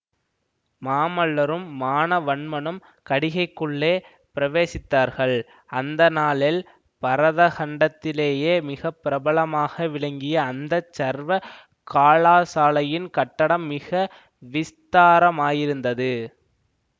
மாமல்லரும் மானவன்மனும் கடிகைக்குள்ளே பிரவேசித்தார்கள் அந்த நாளில் பரதகண்டத்திலேயே மிக பிரபலமாக விளங்கிய அந்த சர்வ கலாசாலையின் கட்டடம் மிக விஸ்தாரமாயிருந்தது